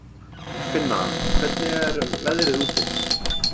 Finna, hvernig er veðrið úti?